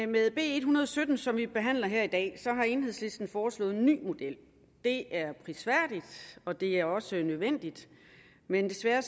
med b en hundrede og sytten som vi behandler her i dag har enhedslisten foreslået en ny model det er prisværdigt og det er også nødvendigt men desværre